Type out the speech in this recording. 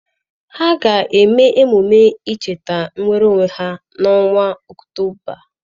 Ha ga-eme emume ncheta inwere onwe ha n'ọnwa Ọktoba.